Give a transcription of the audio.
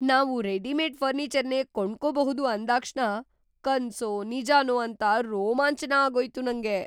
ನಾವು ರೆಡಿಮೇಡ್‌ ಫರ್ನೀಚರ್‌ನೇ ಕೊಂಡ್ಕೊಬಹುದು ಅಂದಾಕ್ಷಣ ಕನ್ಸೋ ನಿಜಾನೋ ಅಂತ ರೋಮಾಂಚನ ಆಗೋಯ್ತು ನಂಗೆ!